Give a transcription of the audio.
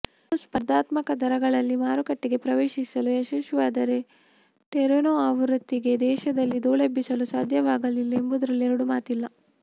ಇನ್ನು ಸ್ಪರ್ಧಾತ್ಮಕ ದರಗಳಲ್ಲಿ ಮಾರುಕಟ್ಟೆಗೆ ಪ್ರವೇಶಿಸಲು ಯಶಸ್ವಿಯಾದರೆ ಟೆರೆನೊ ಆವೃತ್ತಿಗೆ ದೇಶದಲ್ಲಿ ಧೂಳೆಬ್ಬಿಸಲು ಸಾಧ್ಯವಾಗಲಿದೆ ಎಂಬುದರಲ್ಲಿ ಎರಡು ಮಾತಿಲ್ಲ